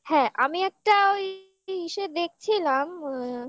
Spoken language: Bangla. হ্যাঁ আমি একটা ওই ইসে দেখছিলাম অ্যা